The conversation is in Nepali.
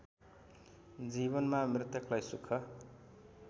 जीवनमा मृतकलाई सुख